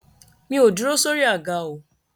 Mi ò dúró sórí àga o.